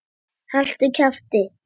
Haltu kjafti!